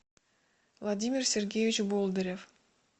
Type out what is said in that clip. владимир сергеевич болдырев